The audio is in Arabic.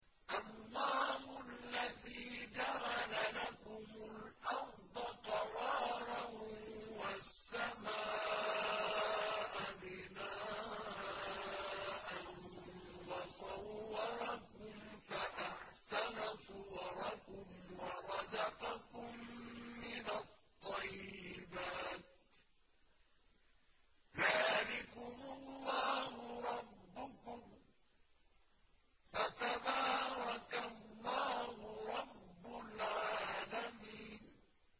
اللَّهُ الَّذِي جَعَلَ لَكُمُ الْأَرْضَ قَرَارًا وَالسَّمَاءَ بِنَاءً وَصَوَّرَكُمْ فَأَحْسَنَ صُوَرَكُمْ وَرَزَقَكُم مِّنَ الطَّيِّبَاتِ ۚ ذَٰلِكُمُ اللَّهُ رَبُّكُمْ ۖ فَتَبَارَكَ اللَّهُ رَبُّ الْعَالَمِينَ